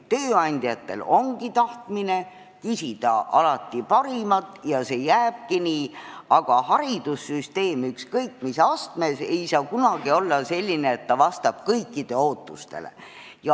Tööandjad küsivadki alati parimat ja see jääbki nii, aga haridussüsteem ükskõik mis astmes ei saa kunagi olla selline, et ta vastab kõikide ootustele.